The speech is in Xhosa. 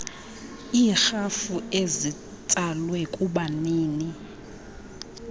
iirhafu ezitsalwe kubanini